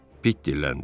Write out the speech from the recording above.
Pit dilləndi.